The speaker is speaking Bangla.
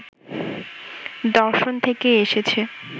দর্শন থেকেই এসেছে।